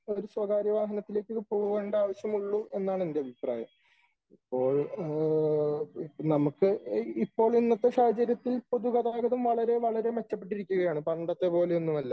ഒരു സ്വകാര്യ വാഹനത്തിലേക്ക് പോകണ്ട ആവശ്യമുളളു എന്നാണ് എന്റെ ഒരു അഭിപ്രായം . അപ്പോൾ നമുക്ക് ഇപ്പോൾ ഇന്നത്തെ സാഹചര്യത്തിൽ പൊതുഗതാഗതം വളരെ വളരെ മിച്ചപ്പെട്ടിരിക്കുകയാണ് . പണ്ടത്തത് പോലെയൊന്നുമല്ല .